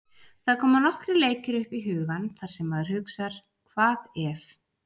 Það koma nokkrir leikir upp í hugann þar sem maður hugsar hvað ef?